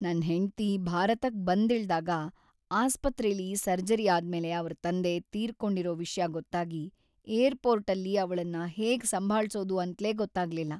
ನನ್ ಹೆಂಡ್ತಿ ಭಾರತಕ್ ಬಂದಿಳ್ದಾಗ ಆಸ್ಪತ್ರೆಲಿ ಸರ್ಜರಿ ಆದ್ಮೇಲೆ ಅವ್ರ್‌ ತಂದೆ ತೀರ್ಕೊಂಡಿರೋ ವಿಷ್ಯ ಗೊತ್ತಾಗಿ ಏರ್ಪೋರ್ಟಲ್ಲಿ ಅವ್ಳನ್ನ ಹೇಗ್ ಸಂಭಾಳ್ಸೋದು‌ ಅಂತ್ಲೇ ಗೊತ್ತಾಗ್ಲಿಲ್ಲ.